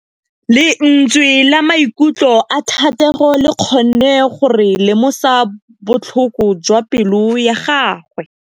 Lentswe la maikutlo a Thategô le kgonne gore re lemosa botlhoko jwa pelô ya gagwe.